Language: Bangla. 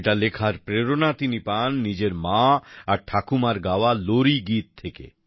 এটা লেখার প্রেরণা তিনি পান নিজের মা আর ঠাকুমার গাওয়া লোরিগীত থেকে